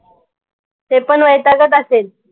ते पण वैतागत असेल.